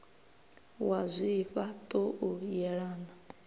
wa zwifha ṱo u yelana